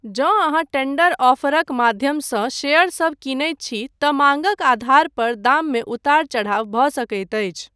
जँ अहाँ टेंडर ऑफरक माध्यमसँ शेयरसभ कीनैत छी तँ माँगक आधार पर दाममे उतार चढ़ाव भऽ सकैत अछि।